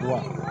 Wa